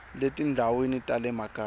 le tindhawini ta le makaya